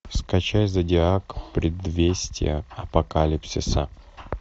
скачай зодиак предвестия апокалипсиса